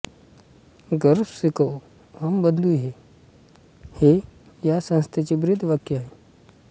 गर्वसे कहो हम बंधू हैं हे या संस्थेचे ब्रीदवाक्य आहे